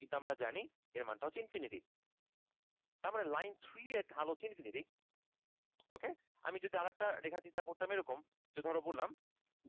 কিন্তু আমরা জানি এর মান টা হচ্ছে infinity তার মানে line three এর ঢাল হচ্ছে infinity ok আমি যদি আরেকটা রেখা চিন্তা করতাম ধরো করলাম